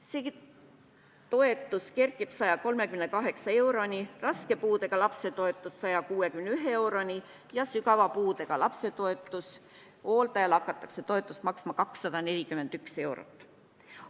See toetus kerkib 138 euroni, raske puudega lapse toetus 161 euroni ja sügava puudega lapse hooldajale hakatakse toetust maksma 241 eurot.